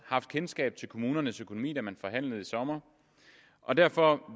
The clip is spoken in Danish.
kendskab til kommunernes økonomi da man forhandlede i sommer og derfor